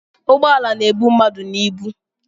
Ugboala na-ebu mmadụ na ịbụ